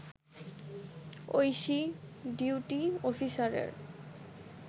Oishi duty অফিসারের